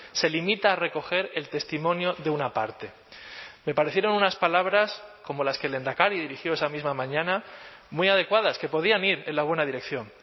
se limita a recoger el testimonio de una parte me parecieron unas palabras como las que el lehendakari dirigió esa misma mañana muy adecuadas que podían ir en la buena dirección